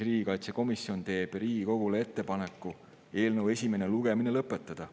Riigikaitsekomisjon teeb Riigikogule ettepaneku eelnõu esimene lugemine lõpetada.